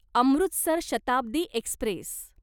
Amritsar Shatabdi Express